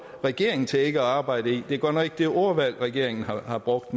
regeringen til ikke at arbejde i det er godt nok ikke det ordvalg regeringen har brugt